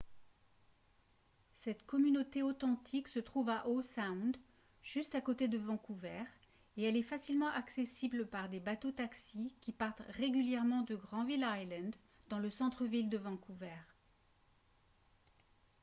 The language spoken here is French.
cette communauté authentique se trouve à howe sound juste à côté de vancouver et elle est facilement accessible par des bateaux-taxis qui partent régulièrement de granville island dans le centre-ville de vancouver